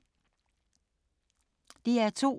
DR2